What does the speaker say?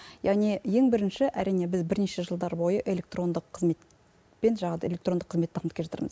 яғни ең бірінші әрине біз бірнеше жылдар бойы электрондық қызмет пен жаңағы электрондық қызметті дамып келе жатырмыз